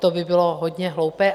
To by bylo hodně hloupé.